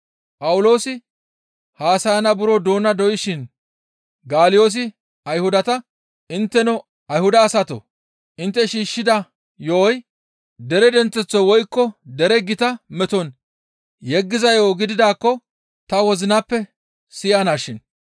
Phawuloosi haasayana buro doona doyshin Galyoosi Ayhudata, «Intteno Ayhuda asatoo! Intte shiishshida yo7oy dere denththeththo woykko dere gita meton yeggiza yo7o gididaakko ta wozinappe siyanashin.